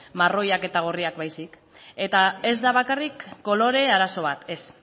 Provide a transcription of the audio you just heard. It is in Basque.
marroiak eta gorriak baizik eta ez da bakarrik kolore arazo bat ez